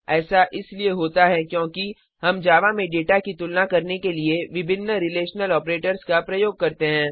ऐसा इसलिए होता है कि हम जावा में डेटा की तुलना करने के लिए विभिन्न रिलेशनल ऑपरेटर्स का प्रयोग करते हैं